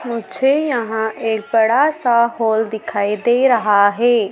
मुझे यहां एक बड़ा सा हॉल दिखाई दे रहा है।